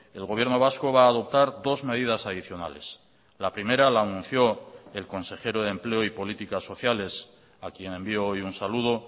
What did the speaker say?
el gobierno vasco va a adoptar dos medidas adicionales la primera la anunció el consejero de empleo y políticas sociales a quien envío hoy un saludo